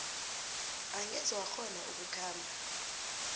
angeze wakghona ukukhamba